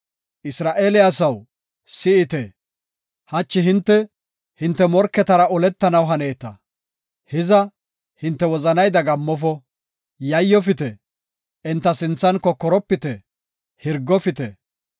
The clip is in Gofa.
“Isra7eele asaw, si7ite; hachi hinte, hinte morketara oletanaw haneeta. Hiza hinte wozanay dagammofo; yayyofite; enta sinthan kokoropite; hirgofite.